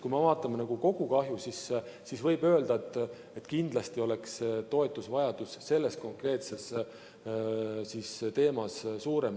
Kui me vaatame kogu kahju, siis võib öelda, et kindlasti oleks toetusvajadus selles konkreetses valdkonnas suurem.